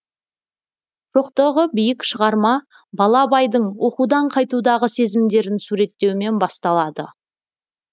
шоқтығы биік шығарма бала абайдың оқудан қайтудағы сезімдерін суреттеумен басталады